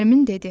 Nərmin dedi: